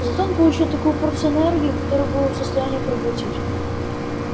зато он получил такую порцию энергии которую был в состоянии проглотить